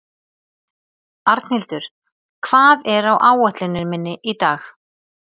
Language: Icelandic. Arnhildur, hvað er á áætluninni minni í dag?